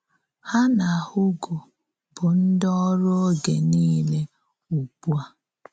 Ha na Hugo bụ ndị òrù oge niile ugbu a.